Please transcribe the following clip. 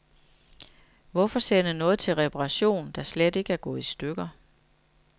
Hvorfor sende noget til reparation, der slet ikke er gået i stykker.